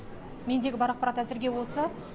мендегі бар ақпарат әзірге осы